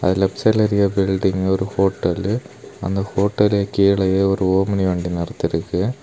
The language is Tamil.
அந்த லெஃப்ட் சைடுல பெரிய பில்டிங் ஒரு ஹோட்டலு அந்த ஹோட்டல் கீலயே ஒரு ஓம்னி வண்டி மாதிரி தெரியுது.